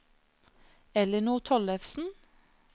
Ellinor Tollefsen